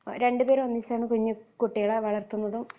ആ രണ്ടുപേരും ഒന്നിച്ചാണ് കുഞ്ഞു കുട്ടികളെ വളർത്തുന്നതും